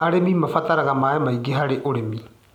Arĩmi mabataraga maĩ maingĩ harĩ ũrĩmi.